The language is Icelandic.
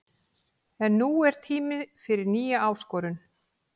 En nú er tími fyrir nýja áskorun.